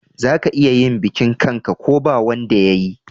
Za ka iya yin bikin kan'ka ko ba wanda yayi